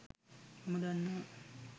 මම දන්නව